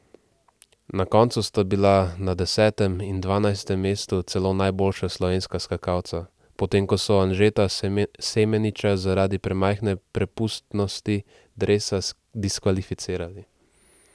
Na koncu sta bila na desetem in dvanajstem mestu celo najboljša slovenska skakalca, potem ko so Anžeta Semeniča zaradi premajhne prepustnosti dresa diskvalificirali.